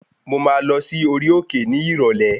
Mo máa lọ sí orí òkè ní ìrọ̀lẹ́